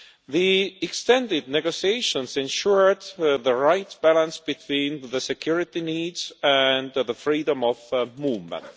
The extended negotiations ensured the right balance between the security needs and the freedom of movement.